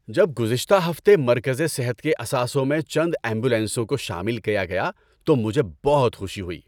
جب گزشتہ ہفتے مرکزِ صحت کے اثاثوں میں چند ایمبولینسوں کو شامل کیا گیا تو مجھے بہت خوشی ہوئی۔